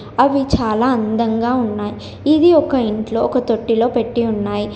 అవి చాలా అందంగా ఉన్నాయ్. ఇది ఒక ఇంట్లో ఒక తొట్టిలో పెట్టి ఉన్నాయ్.